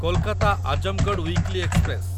Kolkata Azamgarh weekly express